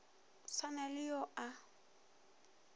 sa na le yo a